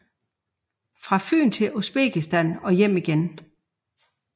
Fra Fyn til Uzbekistan og hjem igen